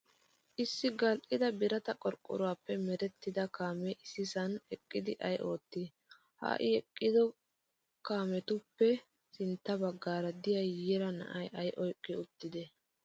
Keehi gal'ida birata qorqqoruwaappe merettida kaamee issisan eqqidi ayi oottii? Ha eqqida kaametuppe sintta baggaara diyaa yiira na'ayi ayi oyiqqi uttidee?